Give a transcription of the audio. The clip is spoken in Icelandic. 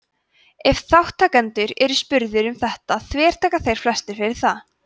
ef þátttakendur eru spurðir um þetta þvertaka þeir flestir fyrir það